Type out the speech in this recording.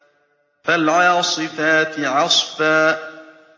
فَالْعَاصِفَاتِ عَصْفًا